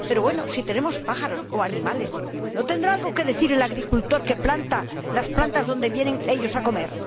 Pero bueno, si tenemos pájaros o animales ¿no tendrá algo que decir el agricultor que planta las plantas donde vienen ellos a comer?